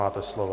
Máte slovo.